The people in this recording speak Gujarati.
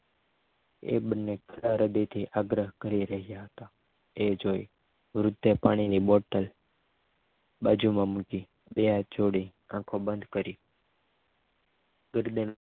એ બંને ઘણા હૃદયથી આગ્રહ કરી રહ્યા હતા એ જોઈ વૃદ્ધે પાણીની બોટલ બાજુમાં મૂકી બે હાથ જોડી આંખો બંધ કરી ગર્દ